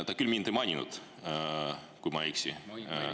Ta küll mind ei maininud, kui ma ei eksi …